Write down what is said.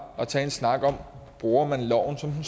at tage en snak om bruger man loven som